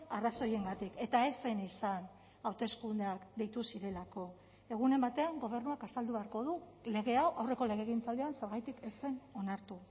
arrazoiengatik eta ez zen izan hauteskundeak deitu zirelako egunen batean gobernuak azaldu beharko du lege hau aurreko legegintzaldian zergatik ez zen onartu